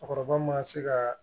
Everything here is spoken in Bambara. Cɛkɔrɔba ma se ka